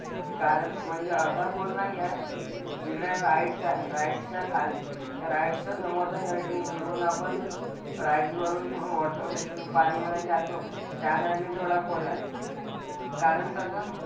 कारण म्हणजे असा खोल नाही आहे. जिकडे rides आहे rides च्या खाल rides च्या समोरच्या side ने जिकडून आपण rides वरून water पाणी मधे जातो त्या ने थोड side खोल आहे. कारण कसं,